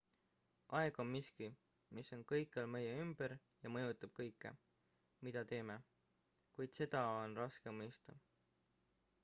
aeg on miski mis on kõikjal meie ümber ja mõjutab kõike mida teeme kuid seda on raske mõista